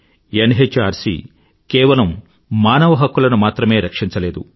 NHRC కేవలం మానవ హక్కులను మాత్రమే రక్షించలేదు